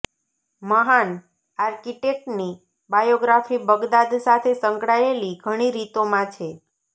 મહાન આર્કિટેક્ટની biography Baghdad સાથે સંકળાયેલી ઘણી રીતોમાં છે